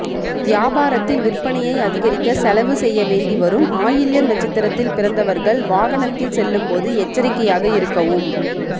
வியாபாரத்தில் விற்பனையை அதிகரிக்க செலவு செய்யவேண்டி வரும் ஆயில்யம் நட்சத்திரத்தில் பிறந்தவர்கள் வாகனத்தில் செல்லும்போது எச்சரிக்கையாக இருக்கவும்